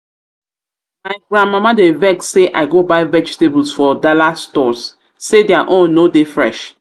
my grandmama dey vex say i go buy vegetable from dallas stores say their own no dey fresh